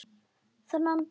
Þennan dag.